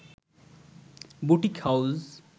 boutique house